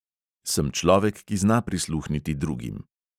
Sem človek, ki zna prisluhniti drugim.